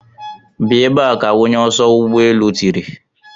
Bịa ebe a! ka onye oso ụgbọ elu tìrì.